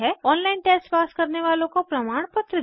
online test pass करने वालों को प्रमाणपत्र देते हैं